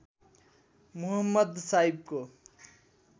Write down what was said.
Muhammad साहिबको